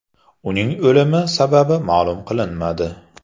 Uning o‘limi sababi ma’lum qilinmadi.